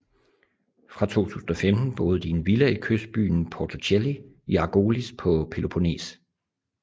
Fra 2015 boede de i en villa i kystbyen Porto Cheli i Argolis på Peloponnes